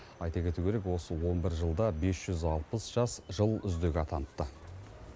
айта кету керек осы он бір жылда бес жүз алпыс жас жыл үздігі атаныпты